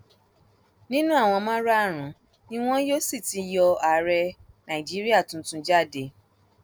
nínú àwọn márààrúnún ni wọn yóò sì ti yọ ààrẹ nàìjíríà tuntun jáde